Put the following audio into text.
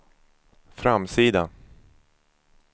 framsida